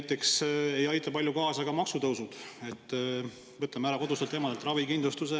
Palju ei aita kaasa ka maksutõusud ega see, kui me võtame kodustelt emadelt ära ravikindlustuse.